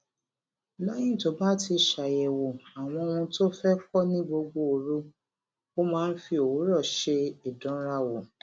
léyìn tó bá ti ṣàyèwò àwọn ohun tó fé kó ní gbogbo òru ó máa ń fi òwúrò ṣe ìdánrawò